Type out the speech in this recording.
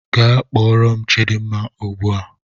Gaa kpọọrọ m chidimma ugbu a!